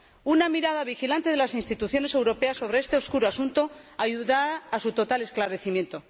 Una mirada vigilante de las instituciones europeas sobre este oscuro asunto ayudará a su total esclarecimiento.